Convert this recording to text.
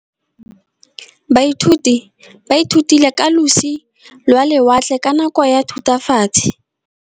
Baithuti ba ithutile ka losi lwa lewatle ka nako ya Thutafatshe.